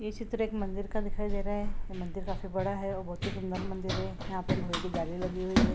ये चित्र एक मंदिर का दिखाई दे रहा है ये मंदिर काफी बड़ा है और बहुत ही सुंदर मंदिर है यहाँ पे लोहे की जाली लगी हुई है।